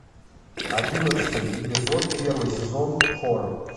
одиннадцатый эпизод первый сезон хор